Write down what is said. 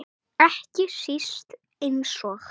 Ekki síst eins og